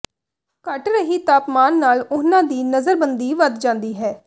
ਘਟ ਰਹੀ ਤਾਪਮਾਨ ਨਾਲ ਉਹਨਾਂ ਦੀ ਨਜ਼ਰਬੰਦੀ ਵੱਧ ਜਾਂਦੀ ਹੈ